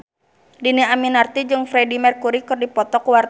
Dhini Aminarti jeung Freedie Mercury keur dipoto ku wartawan